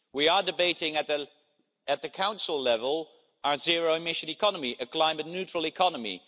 We are debating at the Council level our zero-emission economy, a climate neutral economy.